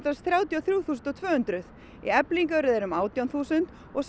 þrjátíu og þrjú þúsund og tvö hundruð í Eflingu eru þeir átján þúsund og